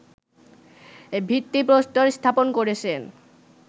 ভিত্তিপ্রস্তর স্থাপন করেছেন